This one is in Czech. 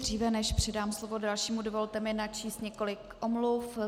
Dříve než předám slovo dalšímu, dovolte mi načíst několik omluv.